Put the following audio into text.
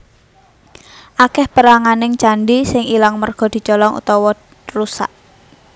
Akèh péranganing candhi sing ilang merga dicolong utawa rusak